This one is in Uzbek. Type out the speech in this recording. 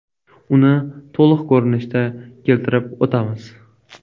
Uni to‘liq ko‘rinishda keltirib o‘tamiz.